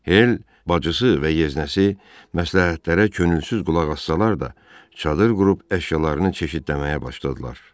Hel, bacısı və yeznəsi məsləhətlərə könülsüz qulaq assalar da, çadır qurub əşyalarını çeşidləməyə başladılar.